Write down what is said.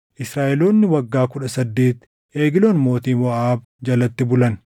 Israaʼeloonni waggaa kudha saddeet Egloon mootii Moʼaab jalatti bulan.